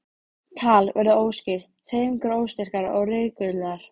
Hallbjörg kemur fram fyrir sófann og virðir burðarpokann fyrir sér.